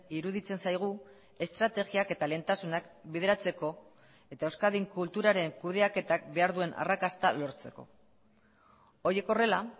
iruditzen zaigu estrategiak eta lehentasunak bideratzeko eta euskadin kulturaren kudeaketak behar duen arrakasta lortzeko horiek horrela